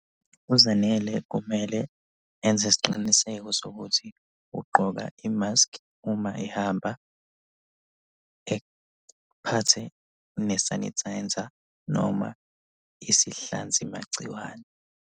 UZanele kumele enze isiqiniseko sokuthi ugqoka imaskhi uma ehamba. Ephathe ne-sanitizer noma isihlanzima magciwane.